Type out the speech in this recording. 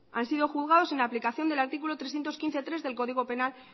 han sido juzgados en aplicación del artículo trescientos quince punto tres del código penal